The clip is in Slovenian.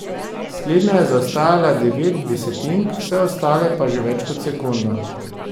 Slednja je zaostajala devet desetink, vse ostale pa že več kot sekundo.